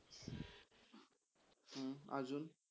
अजुन.